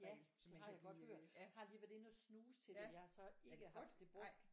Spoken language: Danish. Ja det har jeg godt hørt. Har lige været inde og snuse til det jeg har så ikke haft det brugt